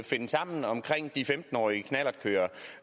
finde sammen om de femten årige knallertkørere